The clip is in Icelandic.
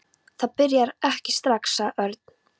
Það byrjar ekki strax, sagði Örn.